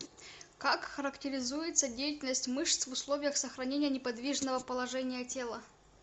как характеризуется деятельность мышц в условиях сохранения неподвижного положения тела